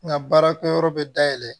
N ka baarakɛyɔrɔ bɛ da yɛlɛ